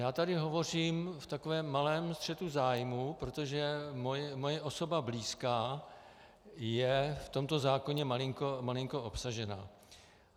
Já tady hovořím v takovém malém střetu zájmů, protože moje osoba blízká je v tomto zákoně malinko obsažena.